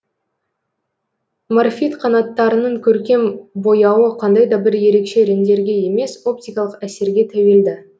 морфид қанаттарының көркем бояуы қандай да бір ерекше реңдерге емес оптикалық әсерге тәуелді